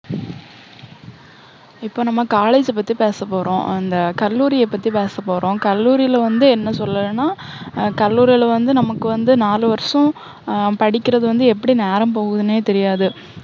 இப்போஅ நம்ம college அ பத்தி பேச போறோம். அந்த கல்லூரிய பத்தி பேச போறோம். கல்லூரில வந்து என்ன சொல்லலன்னா, ஆஹ் கல்லூரில வந்து நமக்கு வந்து நாலு வருஷம் ஹம் படிக்குறது வந்து எப்படி நேரம் போகுதுன்னே தெரியாது.